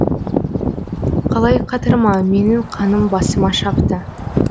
қалай қатырма менің қаным басыма шапты